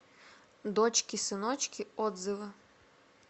дочки сыночки отзывы